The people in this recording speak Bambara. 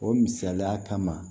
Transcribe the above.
O misaliya kama